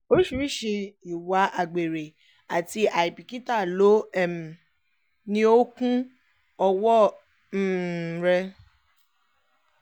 oríṣiríṣii ìwà àgbèrè àti àìbìkítà ló um ní ó kún ọwọ́ um rẹ̀